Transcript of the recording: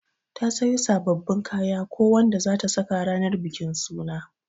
Ta siyo sabbabin kaya ko Wanda zata saka ranan bikin suna.